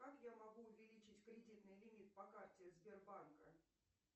как я могу увеличить кредитный лимит по карте сбербанка